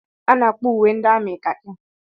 A na-akpọ uwe ndị amị kakị